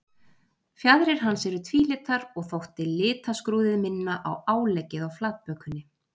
Fjaðrir hans eru tvílitar og þótti litaskrúðið minna á áleggið á flatbökunni.